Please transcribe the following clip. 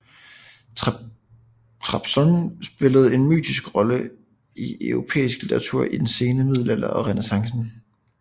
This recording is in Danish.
Trabzon spillede en mytisk rolle i europæisk litteratur i den sene middelalder og Renæssance